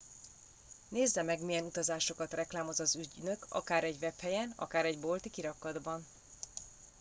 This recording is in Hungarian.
nézze meg milyen utazásokat reklámoz az ügynök akár egy webhelyen akár egy bolti kirakatban